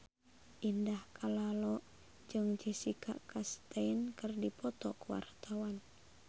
Indah Kalalo jeung Jessica Chastain keur dipoto ku wartawan